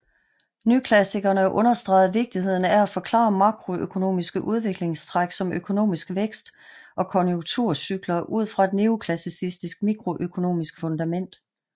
Nyklassikerne understregede vigtigheden af at forklare makroøkonomiske udviklingstræk som økonomisk vækst og konjunkturcykler ud fra et neoklassisk mikroøkonomisk fundament